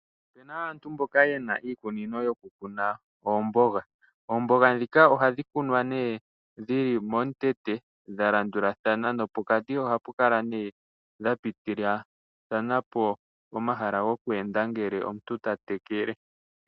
Opuna aantu mboka yena iikunino yo kukuna oomboga. Oomboga ndhika ohadhi kunwa dhi li momukweyo dha landulathana nopokati ohadhi kala dha pitithilathana po omahala goku enda ngele omuntu ta tekele.